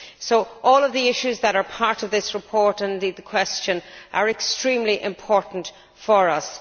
So, all of the issues that are part of this report and the oral question are extremely important for us.